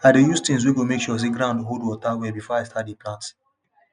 i dey use things wey go make sure say ground hold water well before i start dey plant